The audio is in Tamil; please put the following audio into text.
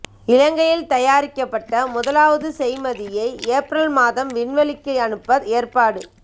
இலங்கையில் தயாரிக்கப்பட்ட முதலாவது செய்மதியை ஏப்ரல் மாதம் விண்வெளிக்கு அனுப்ப ஏற்பாடு